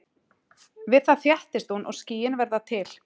Við það þéttist hún og skýin verða til.